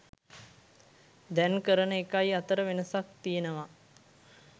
දැන් කරන එකයි අතර වෙනසක් තියෙනවා.